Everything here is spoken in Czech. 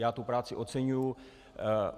Já tu práci oceňuji.